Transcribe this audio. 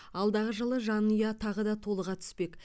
алдағы жылы жанұя тағы да толыға түспек